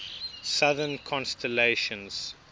southern constellations